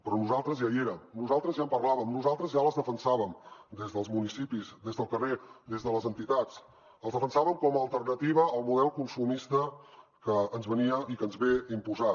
però nosaltres ja hi érem nosaltres ja en parlàvem nosaltres ja les defensàvem des dels municipis des del carrer des de les entitats les defensàvem com a alternativa al model consumista que ens venia i que ens ve imposat